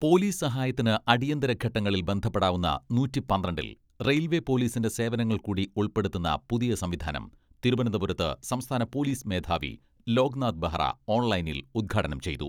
Police സഹായത്തിന് അടിയന്തര ഘട്ടങ്ങളിൽ ബന്ധപ്പെടാവുന്ന നൂറ്റി പന്ത്രണ്ടിൽ റെയിൽവെ പോലിസിന്റെ സേവനങ്ങൾ കൂടി ഉൾപ്പെടുത്തുന്ന പുതിയ സംവിധാനം തിരുവനന്തപുരത്ത് സംസ്ഥാന പോലിസ് മേധാവി ലോക് നാഥ് ബെഹ്റ ഓൺലൈനിൽ ഉദ്ഘാടനം ചെയ്തു.